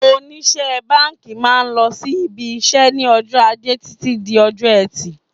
Oníṣe báńkì máa ń lọ sí IBIṢẸ́ ní ọjọ́ ajé Títí di ọjọ́ ẹtì.